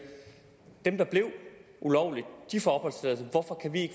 dem der blev ulovligt